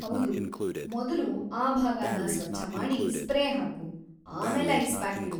ಹೌದು‌, ಮೊದ್ಲು ಆ ಭಾಗನ ಸ್ವಚ್ಛ ಮಾಡಿ ಸ್ಪ್ರೇ ಹಾಕು, ಆಮೇಲೆ ಐಸ್‌ ಪ್ಯಾಕ್‌ ಇಡು.